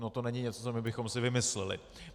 Ono to není něco, co my bychom si vymysleli.